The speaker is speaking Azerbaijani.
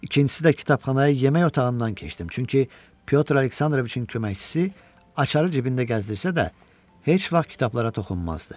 İkincisi də kitabxanaya yemək otağından keçdim, çünki Pyotr Aleksandroviçin köməkçisi açarı cibində gəzdirsə də heç vaxt kitablara toxunmazdı.